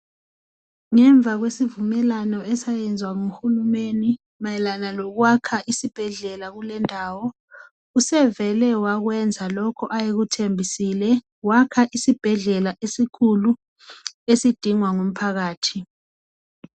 Ngemva kwesivumelwano esayezwa ngu Hulumeni mayelana lokwakha isibhedlela kulendawo sevele wakwenza lokhu ayekuthembisile wakha isibhedlela esikhulu esidingwa ngumphakathi.